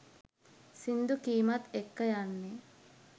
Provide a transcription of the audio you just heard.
සිංදු කීමත් එක්ක යන්නෙ